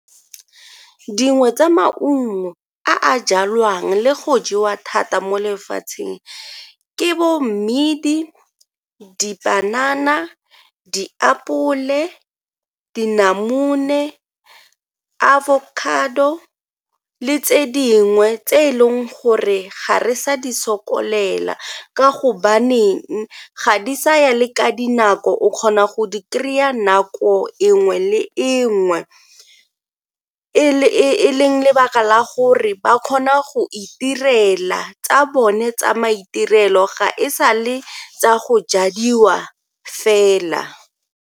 Dingwe tsa maungo a a jalwang le go jewa thata mo lefatsheng ke bo mmidi, dipanana, diapole, dinamune, avocado le tse dingwe tse e leng gore ga re sa di sokolela ka gobaneng ga di sa ya le ka dinako o kgona go di kry-a nako e nngwe le e nngwe e leng lebaka la gore ba kgona go itirela tsa bone tsa maitirelo ga e sa le tsa go jadiwa fela.